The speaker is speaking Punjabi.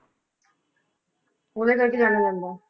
ਉਹਦੇ ਕਰਕੇ ਜਾਣਿਆ ਜਾਂਦਾ।